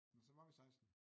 Nåh så var vi 16